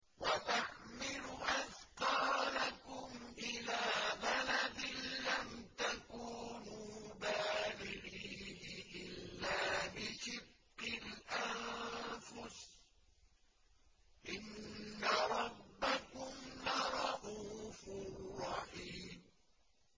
وَتَحْمِلُ أَثْقَالَكُمْ إِلَىٰ بَلَدٍ لَّمْ تَكُونُوا بَالِغِيهِ إِلَّا بِشِقِّ الْأَنفُسِ ۚ إِنَّ رَبَّكُمْ لَرَءُوفٌ رَّحِيمٌ